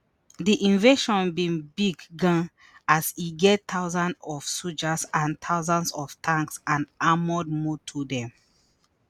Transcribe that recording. di invasion bin big gan as e get thousand of sojas and hundreds of tanks and armoured motor dem